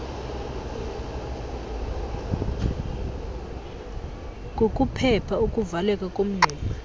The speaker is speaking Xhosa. kukuphepha ukuvaleka komngxuma